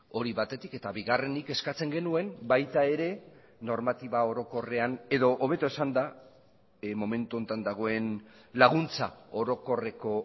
hori batetik eta bigarrenik eskatzen genuen baita ere normatiba orokorrean edo hobeto esanda momentu honetan dagoen laguntza orokorreko